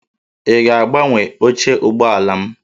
Ị ga-agbanwe oche ụgbọala m?